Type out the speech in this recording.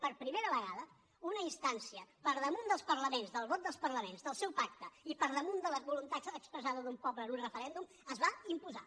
per primera vegada una instància per damunt dels parlaments del vot dels parlaments del seu pacte i per damunt de la voluntat expressada d’un poble en un referèndum es va imposar